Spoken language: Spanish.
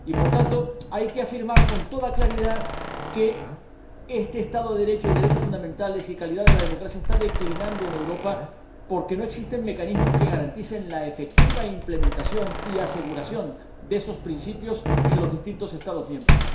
Y, por tanto, hay que afirmar con toda claridad que este Estado de Derecho y derechos fundamentales y calidad de la democracia está declinando en Europa porque no existen mecanismos que garanticen la efectiva implementación y aseguración de esos principios en los distintos Estados miembros.